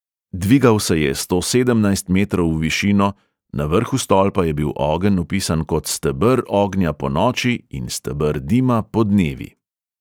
Dvigal se je sto sedemnajst metrov v višino, na vrhu stolpa je bil ogenj opisan kot 'steber ognja ponoči in steber dima podnevi'.